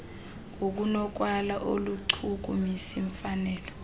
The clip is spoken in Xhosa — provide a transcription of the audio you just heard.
ngokunokwalo aluchukumisi mfanelo